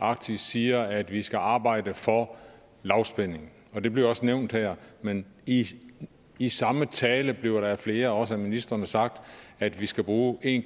arktis siger at vi skal arbejde for lavspænding det bliver også nævnt her men i i samme tale bliver der af flere også af ministrene sagt at vi skal bruge en